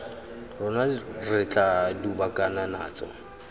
rona re tla dubakana natso